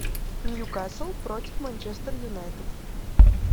ньюкасл против манчестер юнайтед